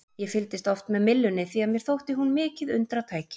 Ég fylgdist oft með myllunni því að mér þótti hún mikið undratæki.